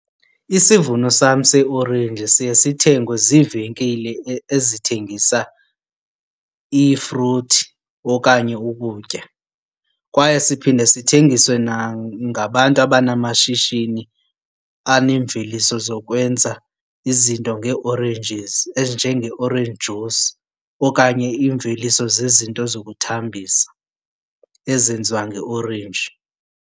Isivuno sam seeorenji siye sithengwe ziivenkile ezithengisa iifruthi okanye ukutya. Kwaye siphinde sithengiswe nangabantu abanamashishini anemveliso zokwenza izinto ngee-oranges enjenge-orange juice okanye imveliso zezinto zokuthambisa ezenziwa ngeorenji.